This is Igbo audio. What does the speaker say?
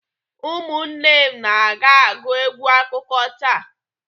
Ụmụnne na m ga-agụ egwu akụkọ taa.